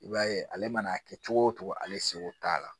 I b'a ye ale mana kɛ cogo o cogo ale seko t'a la